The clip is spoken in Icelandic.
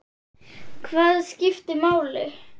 Hvað skiptir máli?